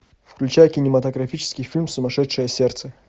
включай кинематографический фильм сумасшедшее сердце